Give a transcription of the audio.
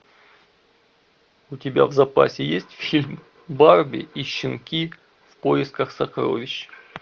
у тебя в запасе есть фильм барби и щенки в поисках сокровищ